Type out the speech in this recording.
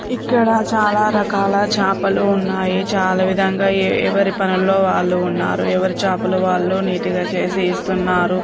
ఇక్కడ చాలా రకాల చాపలు ఉన్నాయి. చాలా విధానం గా ఎవరు పనులలో వాళ్ళు ఉన్నారు. ఎవరు చాపలు వాళ్ళు నీట్ గా చేసి ఇస్తున్నారు.